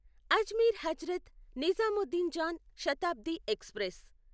Ajmer Hazrat Nizamuddin Jan Shatabdi express